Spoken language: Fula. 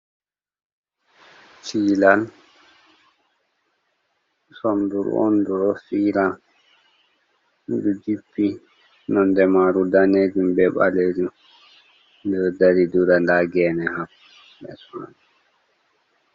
Chilan sonduru on du ɗo fira ɗo jippi nonde maru danejun, be ɓalejum, di ɗo dari dura da gene ha less man